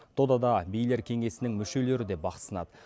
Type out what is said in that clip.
додада билер кеңесінің мүшелері де бақ сынады